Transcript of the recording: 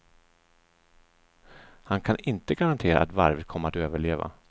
Han kan inte garantera att varvet kommer att överleva.